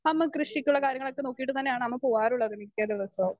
Speaker 2 അമ്മ കൃഷിക്കുള്ള കാര്യങ്ങളൊക്കെ നോക്കിയിട്ട് തന്നെയാണ് അമ്മ പോവാറുള്ളത് മിക്കദിവസവും.